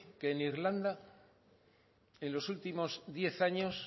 que en irlanda en los últimos diez años